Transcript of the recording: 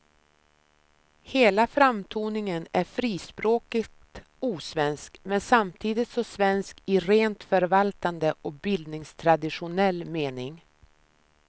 Hela framtoningen är frispråkigt osvensk, men samtidigt så svensk i rent förvaltande och bildningstraditionell mening.